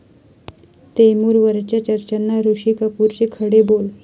तैमूर'वरच्या चर्चांना ऋषी कपूरचे खडे बोल